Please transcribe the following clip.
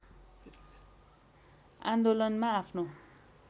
आन्दोलनमा आफ्नो